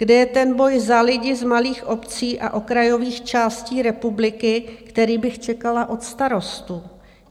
Kde je ten boj za lidi z malých obcí a okrajových částí republiky, který bych čekala od Starostů?